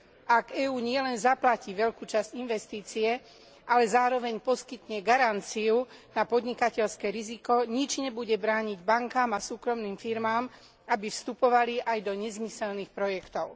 Ak EÚ nielen zaplatí veľkú časť investície, ale zároveň poskytne garanciu na podnikateľské riziko, nič nebude brániť bankám a súkromným firmám, aby vstupovali aj do nezmyselných projektov.